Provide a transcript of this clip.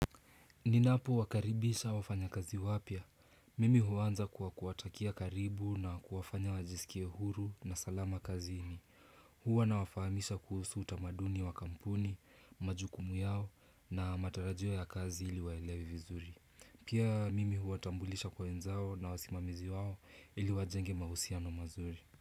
Ninapowakaribisha wafanyakazi wapya. Mimi huanza kwa kuwatakia karibu na kuwafanya wajisikie huru na salama kazi ini. Hua nawafamisha kuhusu utamaduni wa kampuni, majukumu yao na matarajio ya kazi ili waelewe vizuri. Pia mimi huwatambulisha kwa wenzao na wasimamizi wao ili wajenge mahusiano mazuri.